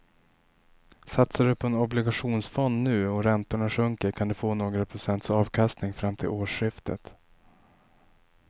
Satsar du på en obligationsfond nu och räntorna sjunker kan du få några procents avkastning fram till årsskiftet.